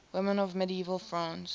women of medieval france